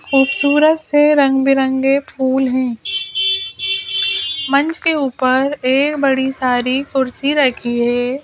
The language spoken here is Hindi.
ख़ूबसूरत से रंग बिरंगी फूल हैं मंच के ऊपर ऐ बड़ी सारी कुर्सी राखी है।